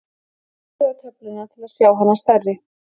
smellið á töfluna til að sjá hana stærri